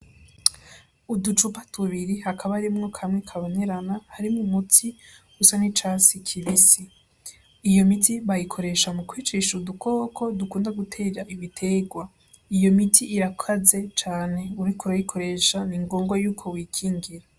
Uducupa tubiri hakaba harimwo kamwe kabonerana harimwo umuti usa n'icatsi kibisi, iyo miti bayikoresha mu kwicisha udukoko dukunda gutera ibiterwa, iyo miti irakaze cane uriko urayikoresha ni ingombwa yuko wikingira.